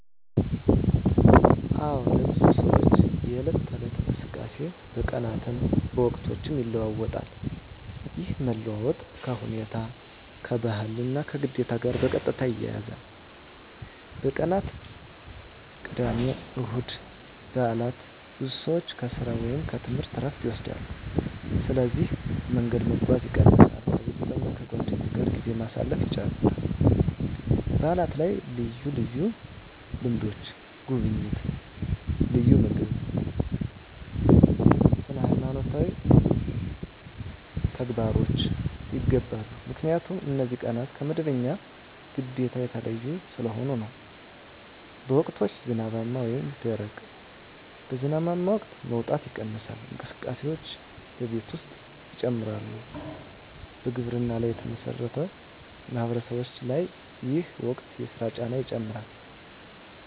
አዎን፣ ለብዙ ሰዎች የዕለት ተዕለት እንቅስቃሴ በቀናትም በወቅቶችም ይለዋዋጣል። ይህ መለዋወጥ ከሁኔታ፣ ከባህል እና ከግዴታ ጋር በቀጥታ ይያያዛል። በቀናት (ቅዳሜ፣ እሁድ፣ በዓላት): ብዙ ሰዎች ከሥራ ወይም ከትምህርት ዕረፍት ይወስዳሉ፣ ስለዚህ መንገድ መጓጓዝ ይቀንሳል ከቤተሰብ እና ከጓደኞች ጋር ጊዜ ማሳለፍ ይጨምራል በዓላት ላይ ልዩ ልምዶች (ጉብኝት፣ ልዩ ምግብ፣ ስነ-ሃይማኖት ተግባሮች) ይገባሉ 👉 ምክንያቱም እነዚህ ቀናት ከመደበኛ ግዴታ የተለዩ ስለሆኑ ነው። በወቅቶች (ዝናባማ እና ደረቅ): በዝናባማ ወቅት መውጣት ይቀንሳል፣ እንቅስቃሴዎችም በቤት ውስጥ ይጨምራሉ በግብርና ላይ የተመሠረቱ ማህበረሰቦች ላይ ይህ ወቅት የሥራ ጫና ይጨምራል